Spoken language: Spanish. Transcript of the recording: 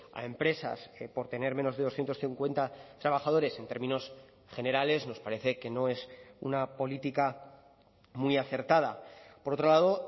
a empresas por tener menos de doscientos cincuenta trabajadores en términos generales nos parece que no es una política muy acertada por otro lado